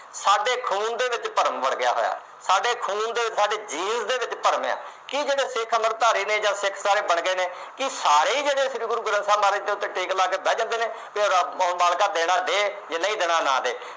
ਸਾਡੇ ਖੂਨ ਦੇ ਵਿੱਚ ਭਰਮ ਵੜ ਗਿਆ ਹੋਇਆ। ਸਾਡੇ ਖੂਨ ਦੇ ਵਿੱਚ, ਸਾਡੀ ਜੀਭ ਦੇ ਵਿੱਚ ਭਰਮ ਆ ਕਿ ਸਿੱਖ ਜਿਹੜੇ ਅੰਮ੍ਰਿਤਧਾਰੀ ਨੇ ਜਾਂ ਸਿੱਖ ਜਿਹੜੇ ਬਣ ਗਏ ਨੇ ਕਿ ਸਾਰੇ ਈ ਜਿਹੜੇ ਨੇ ਸ੍ਰੀ ਗੁਰੂ ਗ੍ਰੰਥ ਮਾਲਕ ਉੱਤੇ ਟੇਕ ਲਾ ਕੇ ਬਹਿ ਜਾਂਦੇ ਨੇ ਕਿ ਰੱਬ ਮਾਲਕਾਂ ਜੇ ਦੇਣਾ ਦੇ, ਜੇ ਨਹੀਂ ਦੇਣਾ ਨਾ ਦੇ।